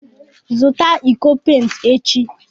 Zụta iko pent echi!